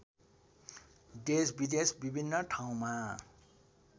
देशविदेश विभिन्न ठाउँमा